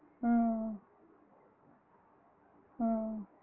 ஆஹ் ஆஹ்